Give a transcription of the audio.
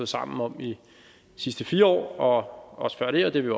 sammen om i de sidste fire år og også før det og det vil